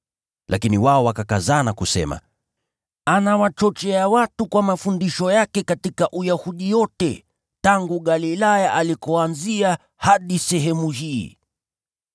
Lakini wao wakakazana kusema, “Anawachochea watu kwa mafundisho yake katika Uyahudi yote, tangu Galilaya alikoanzia, hadi sehemu hii!”